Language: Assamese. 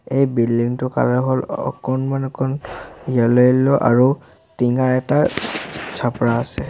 এই বিল্ডিং টোৰ কালাৰ হ'ল অকণমান অকণ য়েল্লো য়েল্লো আৰু টিঙাৰ এটা আছে।